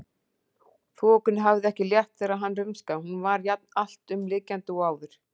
Þokunni hafði ekki létt þegar hann rumskaði, hún var jafn alltumlykjandi og áður.